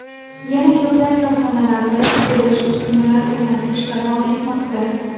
Yana ko‘plab korxonalarda qurilish, uskunalar o‘rnatish davom etmoqda.